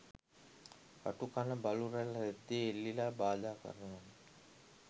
කටු කන බලු රැල රෙද්දෙ එල්ලිලා බාධා කරනවනෙ